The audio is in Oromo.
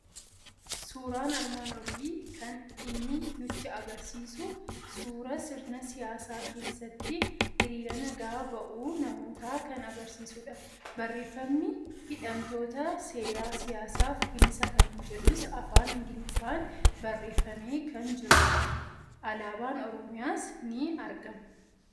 Suuraan armaan olii [kan inni nutti argisiisu suuraa sirna siyyaasaa keessatti hiriira nagaa ba'uu namootaa kan argisiisudha. Barreeffamni hidhamtoota seeraa siyyaasaaf bilisa kan jedhus afaan Ingiliffaan barreeffamee kan jirudha. Alaabaan Oromiyaas ni argama.